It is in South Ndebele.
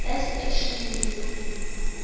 best action movies in